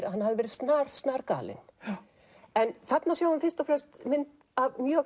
að hann hafi verið snar snar galinn þarna sjáum við fyrst og fremst mynd af mjög